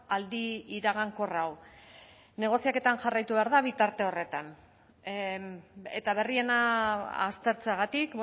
aldi iragankor hau negoziaketan jarraitu behar da bitarte horretan eta berriena aztertzeagatik